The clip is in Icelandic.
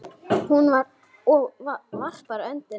Og varpar öndinni léttar.